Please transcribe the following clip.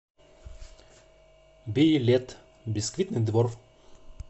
билет бисквитный двор